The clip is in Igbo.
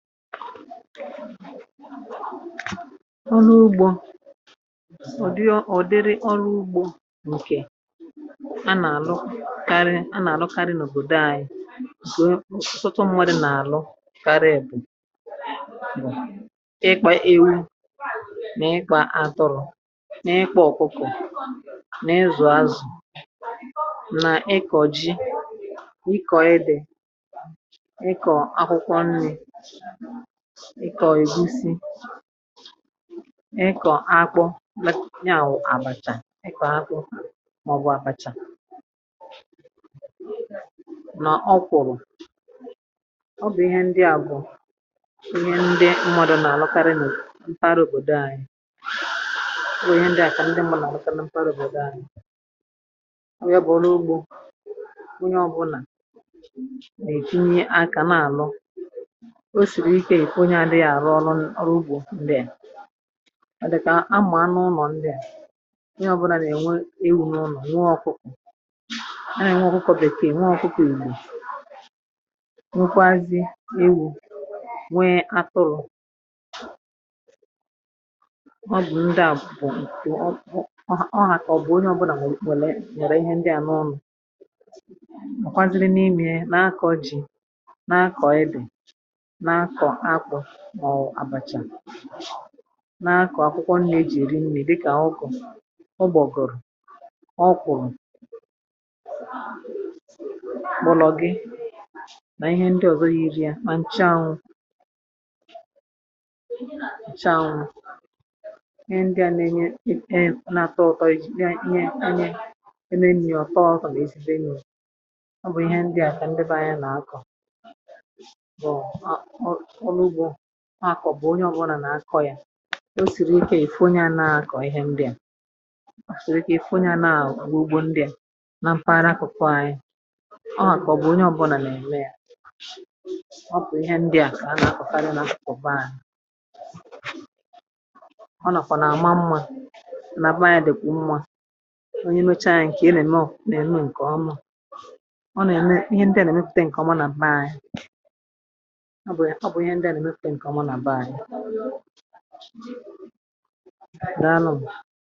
Ọ̀nụ̇ ugbȯ um ọ̀ dịrị ọrụ ugbȯ ǹkè anà-àlụ karị eh anà-àlụ karị n’òbòdo anyị ah sọtọ nwere n’àlụ karịa èbù ịkpa ewu na ịkpa atụrụ na ịkpa ọkụkụ na ịzụ azụ̀ eh na ịkọ̀ ji nà ịkọ dị um ịkọ akwụkwọ nri, ịkọ̀ ègusi, ịkọ̀ akpọ ya wụ̀ àbàchà, ah ịkọ̀ akpọ màọbụ̇ àbàchà nọ̀ ọkwụ̀ bụ̀ ọ bụ̀ ihe ndị àbọ̀, ihe ndị mmụ̇dụ nà-àlụkarị eh nà mpaghara òbòdò anyi. Wèe ihe ndị àkà ndị mmụ̇ nà-àlụkara um mpaghara òbòdò anyi nwe, bụ̀ ọrụ ugbȯ wụnye ọbụnà nà-èkinye akȧ nà àlụ ah dịkà ekwu onye adị̇ghà àrụ ọrụ ọrụ ugbȯ ndị à adị̀kà amùa n’ụnọ̀. Ndị à, ihe ọbụlàrà ènwe ewu̇ n’ụlọ̀, nwe ọkụkọ̇, eh ihe nwe ọkụkọ̇ bèke, ènwe ọkụkọ, ìgbò nwekwazị ewu̇ nwe atụrụ̇. Ọ bụ̀ ndị à bụ̀ um ọ hà kà ọ bụ̀ onye ọbụlà nwèlè nyèrè ihe ndị à n’ụnọ̀, ọ̀kwaziri n’imė na-akọ̇ ji ah na-akọ̇ ibè, n’akọ̀ akwụkwọ nne e jì èri nni dikà agụkọ̀, ụgbọ̀gọ̀rọ̀, ọkụ̀rụ̀, kpọ̀lọ̀gị, nà ihe ndị ọ̀zọ yȧ iri yȧ mà ǹchànwụ̀ ǹchànwụ̀. Ihe ndị a nȧ-ėnyė um ị̀e nà-àtọ ụ̀tọ egwù ihe ndị anyị e nėnni ọ̀tọzụ̀ eh nà ezi̇bè n’ụ̀lọ̀. Bụ̀ ihe ndị à kà ndebe anya nà-akọ̀ ha kọ̀bụ̀ onye ọbụrụnà nà-akọ̇ ya, o sìrì ike yà ì phụ nye nà-akọ̀ ihẹ ndịà sòrò, kà ì phụ nye ah nà-akọ̀ gbo ugbo ndịà na mpaghara akụ̀kọ̀ ànyị. Ha kà ọ bụ̀ onye ọbụrụnà nà-ème yȧ, ọ bụ̀ ihẹ ndịà kà ha nà-akọ̀ eh fadịrị nà nkọ̀ba ànyị, ọ nàkwà nà-àma mmȧ nà aba anyȧ, dị̀kwà mmȧ onye mecha yȧ um ǹkè elème ò nà-ème ǹkè ọmȧ. Ihe ndị à nà-èmepùte ǹkè ọma nà m̀ma ànyị, ihe ị gà-ẹ̀mẹ̀ ptẹ ǹkọ̀mụ nà bèke.